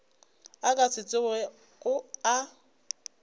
a ka se tsogego a